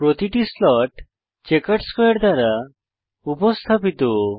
প্রতিটি slot chequered স্কোয়ারে দ্বারা উপস্থাপিত